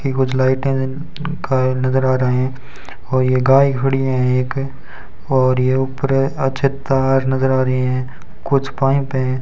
ये कुछ लाइटें हैं जिन का नज़र आ रहे हैं और ये गाय खड़ी हैं एक और ये ऊपर अच्छे तार नज़र आ रहे हैं कुछ पाइप हैं।